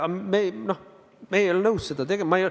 Me ei ole nõus seda tegema.